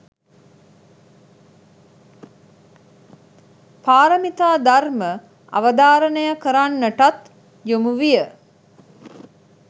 පාරමිතා ධර්ම අවධාරණය කරන්නටත් යොමුවිය